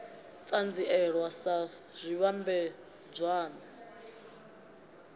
u ṱanzielwa sa zwivhambadzwann a